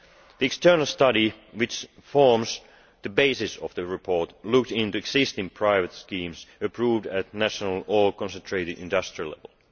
The external study which forms the basis of the report looked into existing private schemes approved at national or concentrated industrial level.